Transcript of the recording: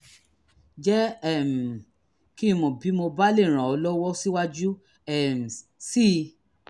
jẹ́ um kí n mọ̀ bí mo bá lè ràn ọ́ lọ́wọ́ síwájú um sí i